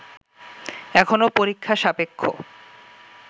এখনো পরীক্ষা-সাপেক্ষ